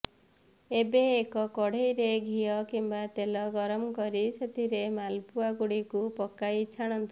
ଏବେ ଏକ କଡ଼େଇରେ ଘିଅ କିମ୍ବା ତେଲ ଗରମ କରି ସେଥିରେ ମାଲପୁଆଗୁଡ଼ିକୁ ପକାଇ ଛାଣନ୍ତୁ